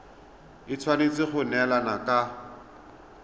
e tshwanetse go neelana ka